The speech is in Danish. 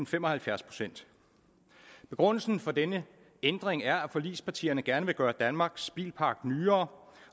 fem og halvfjerds procent begrundelsen for denne ændring er at forligspartierne gerne vil gøre danmarks bilpark nyere